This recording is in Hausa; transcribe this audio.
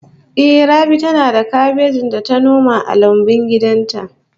Ehh, Rabi tana da kabeji da ta noma a lambun gidan ta